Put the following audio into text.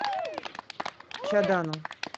чадану